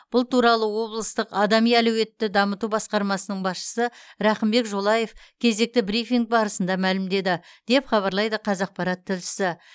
бұл туралы облыстық адами әлеуетті дамыту басқармасының басшысы рақымбек жолаев кезекті брифинг барысында мәлімдеді деп хабарлайды қазақпарат тілішісі